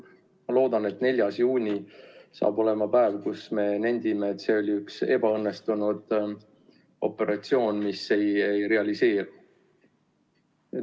Ma loodan, et 4. juuni saab olema päev, kus me nendime, et see oli üks ebaõnnestunud operatsioon, mis ei realiseeru.